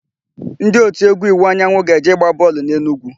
Ndị òtù égwú Iwuanyanwụ ga-eje ịgba bọọlụ n'Enugwu.